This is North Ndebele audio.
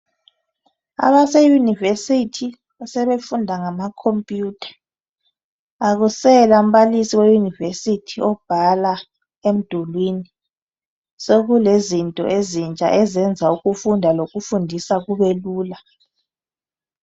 Abemayunivesithi sebefundisa ngamacomputha akusela mbalisi ofundisa ebhala emdulwini ,sekulezinto ezintsha ezenza ukufunda lokufundisa kubelula.